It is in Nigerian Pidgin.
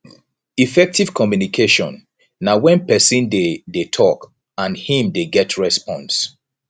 effective communication na when persin de de talk and im de get response